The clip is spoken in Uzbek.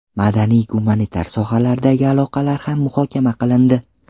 Madaniy-gumanitar sohalardagi aloqalar ham muhokama qilindi.